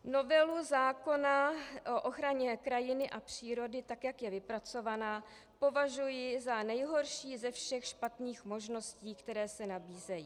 Novelu zákona o ochraně krajiny a přírody, tak jak je vypracovaná, považuji za nejhorší ze všech špatných možností, které se nabízejí.